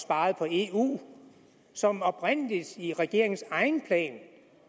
og eu og som oprindelig i regeringens egen plan